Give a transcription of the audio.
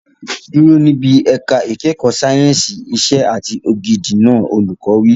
Dúró níbi ẹ̀ka ìkẹ́kọ̀ọ́ sáyẹ̀nsì ìṣe àti ògidì náà! Olùkọ́ wí.